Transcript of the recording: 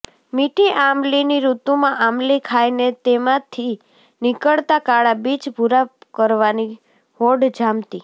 મીઠી આમલીની ઋતુમાં આમલી ખાઈને તેમાંથી નીકળતા કાળા બીજ ભૂરા કરવાની હોડ જામતી